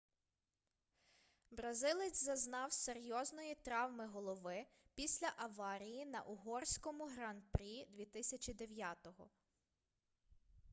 бразилець зазнав серйозної травми голови після аварії на угорському гран-прі 2009